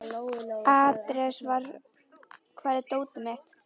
Ares, hvar er dótið mitt?